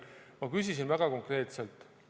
Ma küsisin väga konkreetselt.